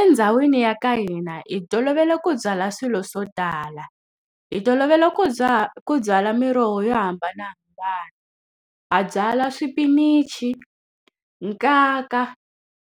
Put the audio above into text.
Endhawini ya ka hina hi tolovele ku byala swilo swo tala, hi tolovele ku ku byala miroho yo hambanahambana. Ha byala swipinichi, nkaka,